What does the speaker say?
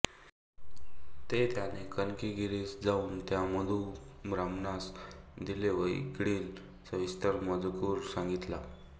ते त्याने कनकगिरीस जाऊन त्या मधुब्राह्मणास दिले व इकडील सविस्तर मजकूर सांगितला